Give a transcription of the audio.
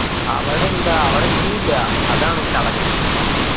അവടെ എന്താ അവിടെ view ഇല്ലാ. അതാണ് ചടങ്ങ്.